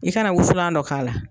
I kana wusulan dɔ k'a la.